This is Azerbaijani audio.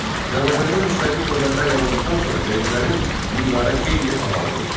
Azərbaycanda müstəqil dövlətlər yarandıqdan sonra vergilərin miqdarı xeyli azaldıldı.